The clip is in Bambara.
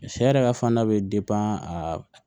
Sɛ yɛrɛ ka fana bɛ a